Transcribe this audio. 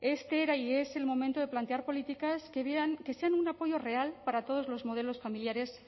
este era y es el momento de plantear políticas que sean un apoyo real para todos los modelos familiares